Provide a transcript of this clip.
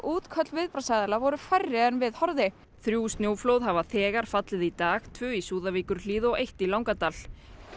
útköll viðbragðsaðila voru færri en við horfði þrjú snjóflóð hafa þegar fallið í dag tvö í Súðavíkurhlíð og eitt í Langadal